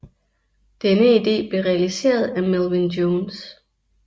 Denne idé blev realiseret af Melvin Jones